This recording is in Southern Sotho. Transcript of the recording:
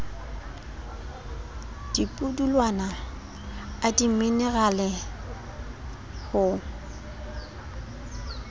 a dipudulwana a dimenerale ho